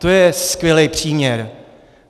To je skvělý příměr.